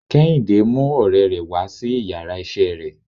Kehinde mú òrè rè wá sí íyarà iṣẹ re